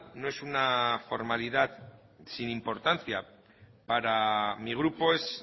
no es una formalidad sin importancia para mi grupo es